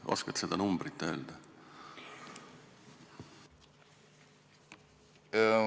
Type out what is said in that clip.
Oskad seda numbrit öelda?